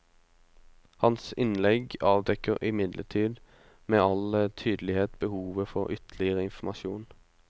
Hans innlegg avdekker imidlertid med all tydelighet behovet for ytterligere informasjon.